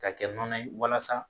Ka kɛ nɔnɔ ye walasa.